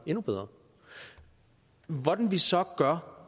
endnu bedre hvordan vi så gør